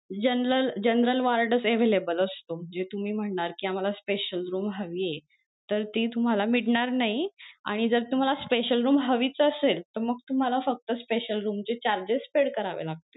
General general word च available असतो जे तुम्ही म्हणणार कि आम्हाला special room हवीये तर ती तुम्हाला मिळणार नाही आणि जर तुम्हाला special room हवीच असेल तर तुम्हाला फक्त special room चे charges paid करावे लागतील.